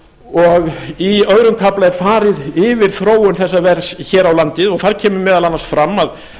og í öðrum kafla er farið yfir þróun þessa verðs hér á landi og þar kemur meðal annars fram að